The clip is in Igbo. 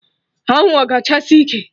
Anwụ a ga achasi ike!